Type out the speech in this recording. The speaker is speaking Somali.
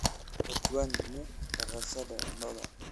Ojwang'ni dhaqashada lo'da